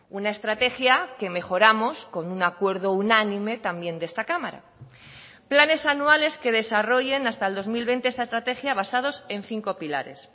una estrategia que mejoramos con un acuerdo unánime también de esta cámara planes anuales que desarrollen hasta el dos mil veinte esta estrategia basados en cinco pilares